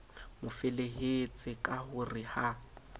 mofelehetse ka ho re ha